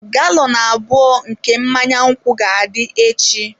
Galọn abụọ nke mmanya nkwụ ga-adị echi.